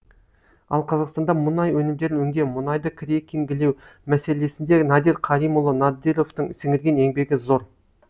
ал қазақстанда мұнай өнімдерін өңдеу мұнайды крекингілеу мәселесінде надир қаримұлы надировтың сіңірген еңбегі зор